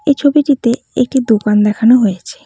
এই ছবিটিতে একটি দোকান দেখানো হয়েছে।